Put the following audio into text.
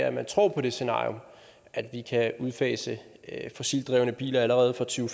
at man tror på det scenarium at vi kan udfase fossilt drevne biler allerede fra to